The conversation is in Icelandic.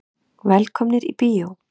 Velkomnir í bíó.